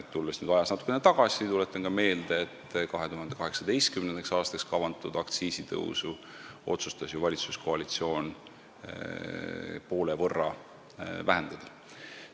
Tulles ajas natukene tagasi, tuletan ka meelde, et 2018. aastaks kavandatud aktsiisitõusu otsustas valitsuskoalitsioon ju poole võrra vähendada.